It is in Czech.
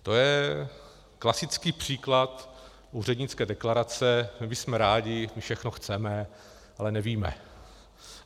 To je klasický příklad úřednické deklarace: my bychom rádi, my všechno chceme, ale nevíme.